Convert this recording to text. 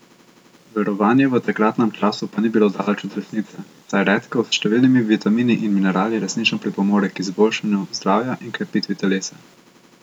Verovanje v takratnem času pa ni bilo daleč od resnice, saj redkev s številnimi vitamini in minerali resnično pripomore k izboljšanju zdravja in krepitvi telesa.